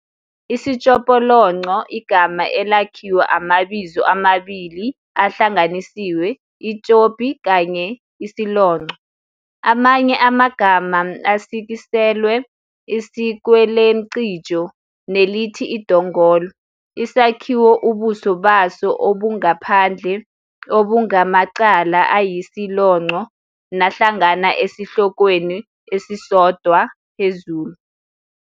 Isitshopolonco, igama elakhiwa amabizo amabili ahlanganisiwe 'itshopi' kanye 'isilonco', amanye amagama asikiselwe isikwelemcijo nelithi idongolo, isakhiwo ubuso baso obungaphandle obungamacala ayisilonco nahlangana esihlokweni esisodwa phezulu.